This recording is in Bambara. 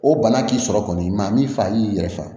O bana k'i sɔrɔ kɔni ma min fa i y'i yɛrɛ faga